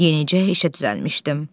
Yenicə işə düzəlmişdim.